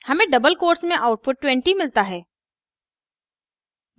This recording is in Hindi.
हमें डबल कोट्स में आउटपुट 20 मिलता है